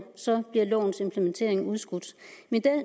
bliver lovens implementering udskudt mit